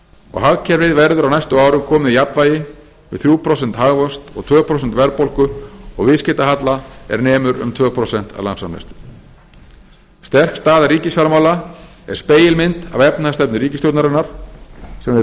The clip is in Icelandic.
og hagkerfið verður á næstu árum komið í jafnvægi við þriggja prósenta hagvöxt og tvö prósent verðbólgu og viðskiptahalla er nemur um tvö prósent af landsframleiðslu sterk staða ríkisfjármála er spegilmynd af efnahagsstefnu ríkisstjórnarinnar sem hefur